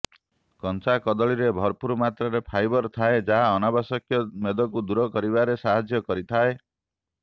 କଞ୍ଚା କଦଳୀରେ ଭରପୁର ମାତ୍ରାରେ ଫାଇବର ଥାଏ ଯାହା ଅନାବଶ୍ୟକ ମେଦକୁ ଦୂର କରିବାରେ ସାହାଯ୍ୟ କରିଥାଏ